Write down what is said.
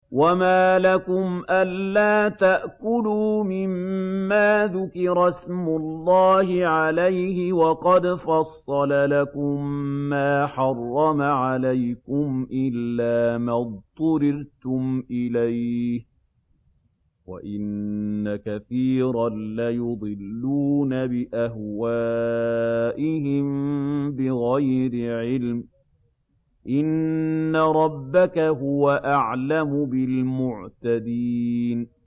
وَمَا لَكُمْ أَلَّا تَأْكُلُوا مِمَّا ذُكِرَ اسْمُ اللَّهِ عَلَيْهِ وَقَدْ فَصَّلَ لَكُم مَّا حَرَّمَ عَلَيْكُمْ إِلَّا مَا اضْطُرِرْتُمْ إِلَيْهِ ۗ وَإِنَّ كَثِيرًا لَّيُضِلُّونَ بِأَهْوَائِهِم بِغَيْرِ عِلْمٍ ۗ إِنَّ رَبَّكَ هُوَ أَعْلَمُ بِالْمُعْتَدِينَ